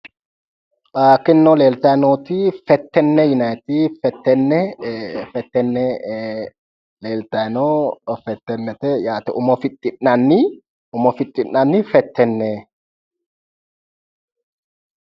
Tinino leeltayi nooti fettenne yinaayiiti, ee fettenne leeltayi no. fettennete yate, umo fixxi'nanni umo fixxi'nanni fettenne.